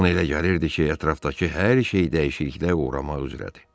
Ona elə gəlirdi ki, ətrafdakı hər şey dəyişikliyə uğramaq üzrədir.